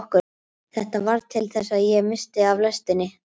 Þetta varð til þess að ég missti af lestinni.